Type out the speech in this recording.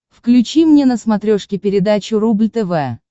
включи мне на смотрешке передачу рубль тв